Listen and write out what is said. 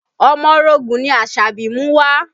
Omorogun ni Asabi mú wá